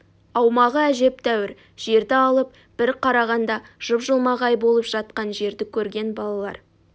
аумағы әжептәуір жерді алып бір қарағанда жып-жылмағай болып жатқан жерді көрген балалар